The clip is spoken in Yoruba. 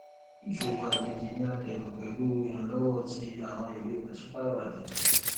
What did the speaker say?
ìṣowó àjèjì ni a dẹrọ pẹlú ìrànlọwọ ti àwọn ìwé pàṣípààrọ àjèjì